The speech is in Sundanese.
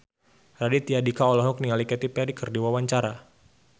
Raditya Dika olohok ningali Katy Perry keur diwawancara